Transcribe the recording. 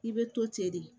I bɛ to ten de